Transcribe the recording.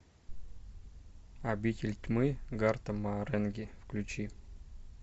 обитель тьмы гарта маренги включи